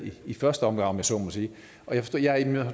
i første omgang om jeg så må sige